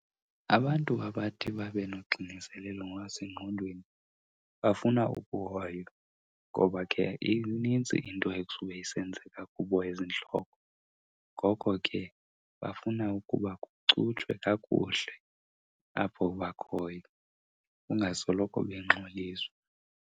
Abantu abathi babe noxinezelelo ngokwasengqondweni bafuna ukuhoywa ngoba ke inintsi into ekusube isenzeka kubo ezintloko. Ngoko ke bafuna ukuba kucutshwe kakuhle apho bakhoyo, ungasoloko bengxoliswa.